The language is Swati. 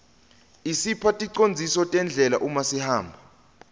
isipha ticondziso tendlela uma sihamba